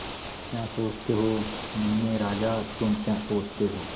क्या सोचते हो मुन्ने राजा तुम क्या सोचते हो